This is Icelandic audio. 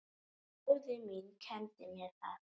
Móðir mín kenndi mér það.